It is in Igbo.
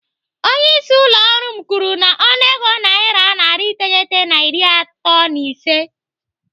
Onye isi ụlọ ọrụ m kwuru m ọnụego naira narị iteghete na iri atọ na ise.